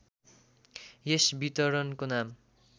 यस वितरणको नाम